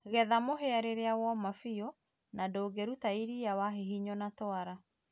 getha mũhĩa rĩrĩa woma bĩũ na ndũngĩrũta ĩrĩa wahĩhĩnywo na twara